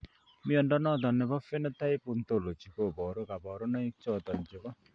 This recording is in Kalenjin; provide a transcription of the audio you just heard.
Mnyondo noton nebo Phenotype Ontology koboru kabarunaik choton chebo